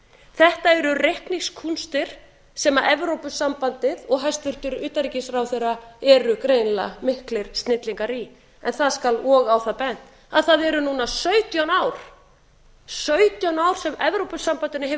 þetta eru reikningskúnstir sem evrópusambandið og hæstvirtur utanríkisráðherra eru greinilega miklir snillingar í en það skal og á það bent að það eru núna sautján ár sem evrópusambandinu hefur